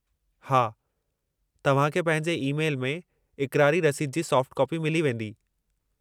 हा, तव्हां खे पंहिंजे ई-मैल में इक़रारी रसीद जी सॉफ़्ट कापी मिली वेंदी।